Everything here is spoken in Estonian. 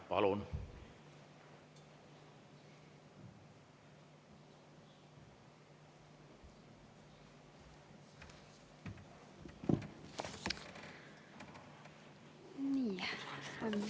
Palun!